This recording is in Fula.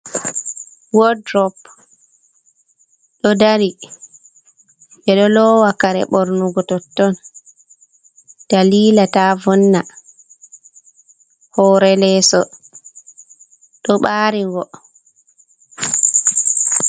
Wot ɗurop, ɗo ɗari. Ɓe ɗo lowa kare ɓornugo totton ɗalila ta vonna. Hore leso ɗo ɓarigo.